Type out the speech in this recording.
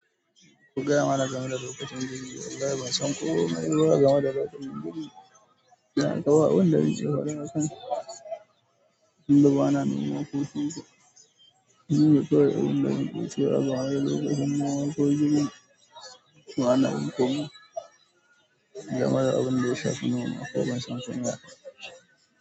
Ku gaya mana game da lokacin girbi. Wallahi ban san komai ba game da lokacin girbi. Don haka ba abin da zan ce game da hakan. Tunda bana noma ko kusa. Shi ne kawai abinda zan iya cewa game da lokacin noma ko girbi. Bana yin komai game da abinda ya shafi noma, kuma ban san shi ba.